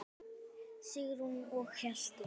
Sigrún og Hjalti.